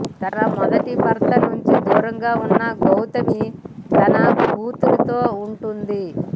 తన మొదటి భర్త నుంచి దూరంగా ఉన్న గౌతమి తన కూతిరితో ఉంటోంది